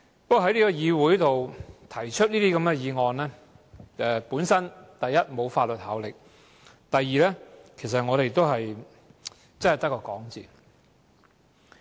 不過，在議會上提出這些議員議案，第一，沒有法律效力；第二，其實只是空談。